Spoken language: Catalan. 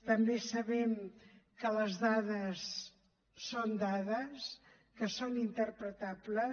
també sabem que les dades són dades que són interpretables